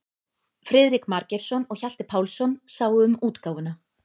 Friðrik Margeirsson og Hjalti Pálsson sáu um útgáfuna.